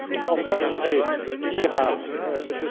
Enfin, je voudrais dire à